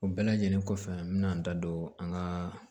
O bɛɛ lajɛlen kɔfɛ n bɛna n da don an ka